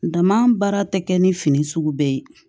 Dama baara tɛ kɛ ni fini sugu bɛɛ ye